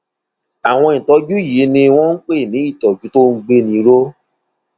àwọn ìtọjú yìí ni wọn ń pè ní ìtọjú tó ń gbéni ró